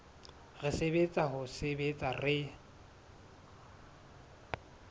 re tsebang ho sebetsa re